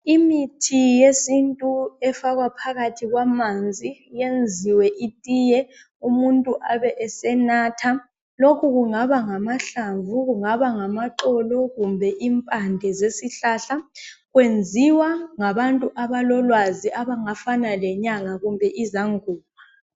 Imithi yesintu efakwa phakathi kwamanzi yenziwe itiye umuntu abe esenatha. Lokhu kungaba ngamahlamvu, kungabangamaxolo kumbe impande zesihlahla kwenziwa ngabantu abalolwazi abangafana lenyanga kumbe izangoma.